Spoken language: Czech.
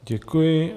Děkuji.